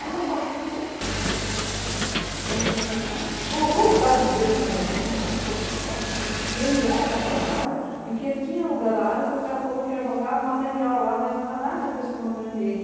Aí o cara baixou o tom, começou a conversar, colocou os dados dele na minha agenda, falou que se eu precisasse, que ele era daquela área e que ele tinha alugado a área que o cara falou que ia jogar o material lá, mas não era nada agressivo ao meio ambiente.